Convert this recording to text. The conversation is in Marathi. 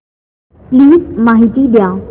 प्लीज माहिती द्या